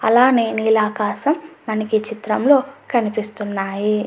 అలానే నీలాకాశం మనకి ఈ చిత్రంలో కనిపిస్తున్నాయి.